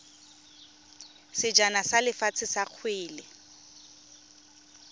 sejana sa lefatshe sa kgwele